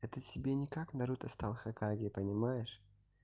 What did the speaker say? это тебе не как наруто стал хокаге понимаешь